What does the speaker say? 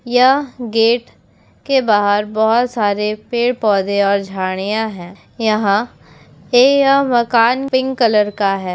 या गेट के बाहर बोहोत सारे पेड़ पौधे और झाड़ियां है यहां यह मकान पिंक कलर का है।